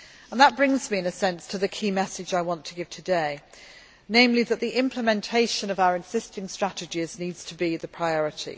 That brings me in a sense to the key message I want to give today, namely that the implementation of our existing strategies needs to be the priority.